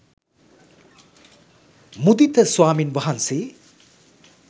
මුදිත ස්වාමින් වහන්සේ